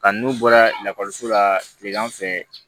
Kan n'u bɔra lakɔliso la kilegan fɛ